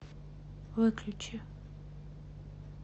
выключи